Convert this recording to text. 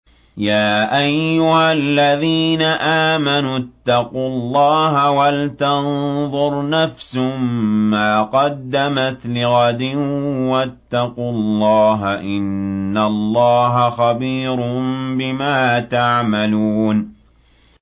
يَا أَيُّهَا الَّذِينَ آمَنُوا اتَّقُوا اللَّهَ وَلْتَنظُرْ نَفْسٌ مَّا قَدَّمَتْ لِغَدٍ ۖ وَاتَّقُوا اللَّهَ ۚ إِنَّ اللَّهَ خَبِيرٌ بِمَا تَعْمَلُونَ